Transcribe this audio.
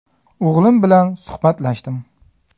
O‘g‘lim bilan suhbatlashdim.